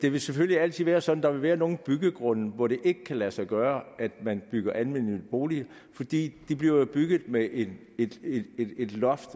det vil selvfølgelig altid være sådan at være nogle byggegrunde hvor det ikke kan lade sig gøre at bygge almennyttige boliger fordi de jo bliver bygget med et loft